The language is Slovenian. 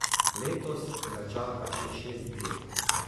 Letos ga čaka še šest dirk.